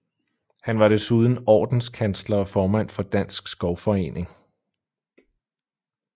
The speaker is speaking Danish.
Han var desuden Ordenskansler og formand for Dansk Skovforening